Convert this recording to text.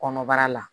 Kɔnɔbara la